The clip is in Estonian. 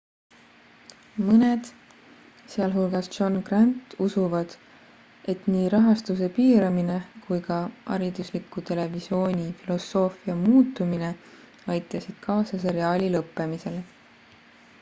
mõned sh john grant usuvad et nii rahastuse piiramine kui ka haridusliku televisiooni filosoofia muutumine aitasid kaasa seriaali lõppemisele